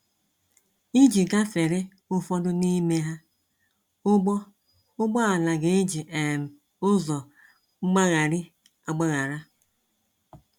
Iji gafere ụfọdụ n’ime ha, ụgbọ ụgbọ ala ga-eji um ụzọ mgbaghari-agbaghara.